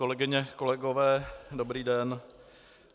Kolegyně, kolegové, dobrý den.